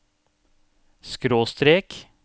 skråstrek